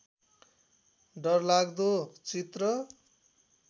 डरलाग्दो चित्र